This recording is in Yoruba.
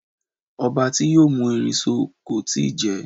Ọba ti yoo mú erin so kò ì tí ì jẹ